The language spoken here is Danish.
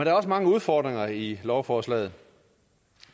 er også mange udfordringer i lovforslaget